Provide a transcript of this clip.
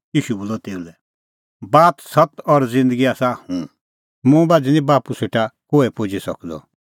ईशू बोलअ तेऊ लै बात सत्त और ज़िन्दगी आसा हुंह मुंह बाझ़ी निं बाप्पू सेटा कोहै पुजी सकदअ